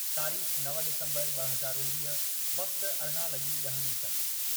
(तारीख़ नव डिसम्बर ॿ हज़ार उणवीह, वक़्तु अरिड़ा लॻी ॾह मिंट)